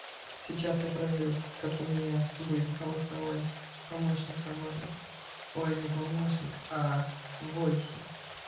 сейчас я проверю как у меня будет голосовой помощник работать ой не помощник а войси